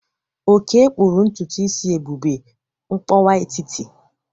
Oke kpụrụ ntutu isi Ebube mkpọwa etiti.